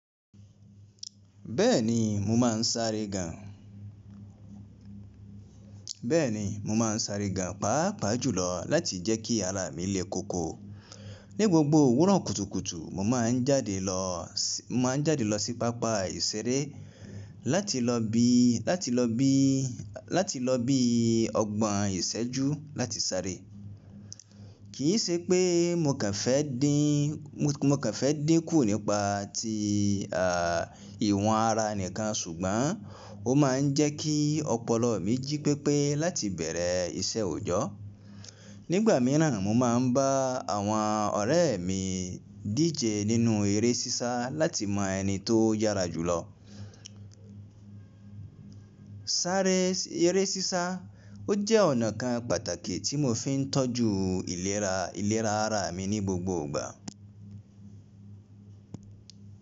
Bẹ́ẹ̀ni mo máa ń sáré gan, bẹ́ẹ̀ni mo máa ń sáré gan pápa jùlọ láti jẹ́ kí ara mi lé koko. Ni gbogbo òwúrọ̀ kùtùkùtù mo máa ń jáde lọ, mo ma ń jáde lọ sí pápá ìṣeré láti lọ bi, láti lọ bi, láti lọ bi ọgbọ̀n ìṣẹ́jú láti sáré. Kì í ṣe pé mo kàn fẹ́ dín, mo kàn fẹ́ dín kù nípa ti ìwọ̀n ara nìkan ṣùgbọ́n ó máa ń jẹ́ kí ọpọlọ mi jí pépé láti bẹ̀rẹ̀ iṣẹ́ òòjọ́. Nígbà míràn mo máa ń bá àwọn ọ̀rẹ́ mi díje nínú eré sísá láti mọ ẹni tó yára jùlọ. Sáré eré sísá ó jẹ́ ọ̀nà kan pàtàkì tí mo fi ń tọ́jú ìlera, ìlera ara mi ní gbogbo ìgbà.